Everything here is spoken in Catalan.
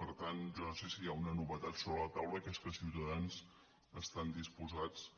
per tant jo no sé si hi ha una novetat sobre la taula que és que ciutadans estan disposats